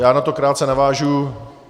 Já na to krátce navážu.